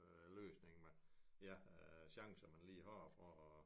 Øh løsning ja chancer man lige har for